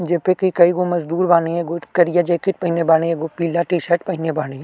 जे पे कई गो मजदूर बानी एगो करिया जैकेट पहिनले बानी एगो पीला टी-शर्ट पहिनले बाड़ी --